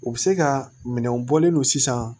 U bɛ se ka minɛnw bɔlen no sisan